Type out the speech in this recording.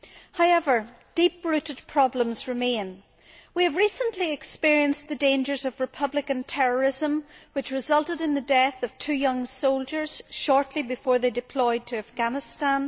However, deep rooted problems remain. We have recently experienced the dangers of Republican terrorism, which resulted in the death of two young soldiers shortly before they were to be deployed to Afghanistan.